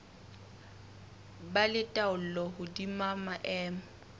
ba le taolo hodima maemo